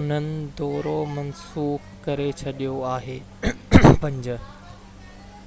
انهن دورو منسوخ ڪري ڇڏيو آهي